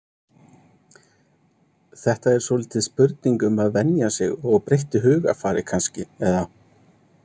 Þetta er svolítið spurning um að venja sig og breyttu hugarfari kannski eða?